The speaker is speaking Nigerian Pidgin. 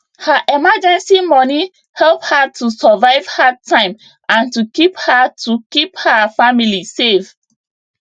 her emergency money help her to survive hard time and to keep her to keep her family safe